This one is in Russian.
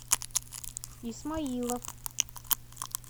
исмаилов